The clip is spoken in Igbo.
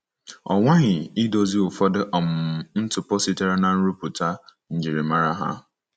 Ọ nwaghị idozi ụfọdụ um ntụpọ sitere na-nrụpụta ’ njirimara ha.'